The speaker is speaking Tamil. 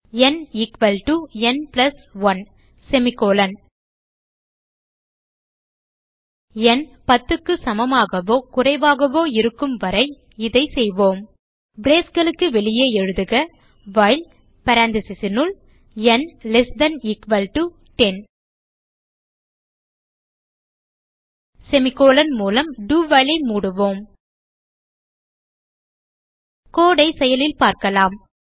ந் எக்வால்ட்டோ ந் பிளஸ் 1 ந் 10க்கு சமமாகவோ குறைவாகவோ இருக்கும் வரை இதை செய்வோம் braceகளுக்கு வெளியே எழுதுக வைல் paranthesis னுள் ந் less than equal to 10 semi colon மூலம் do while ஐ மூடவும் கோடு ஐ செயலில் பார்க்கலாம்